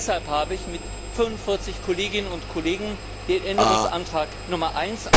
Deshalb habe ich mit 45 Kolleginnen und Kollegen den Änderungsantrag Nr.